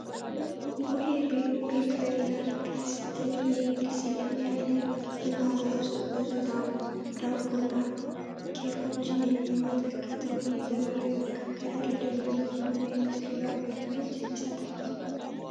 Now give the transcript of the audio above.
ቡሄ ቤከሪና ፔስትሪ" የሚል ስያሜ ያለው እና በውስጡ ብዙ ዳቦና ኬኮችን የሚመለከተው ይህ ዘመናዊ መጋገሪያ፣ ለደንበኞች ምን አይነት ልዩ አገልግሎት ይሰጣል?